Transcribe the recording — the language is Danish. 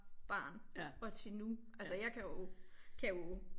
Barn og til nu altså jeg kan jo kan jo